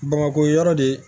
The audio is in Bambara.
Bamakɔ yan yɔrɔ de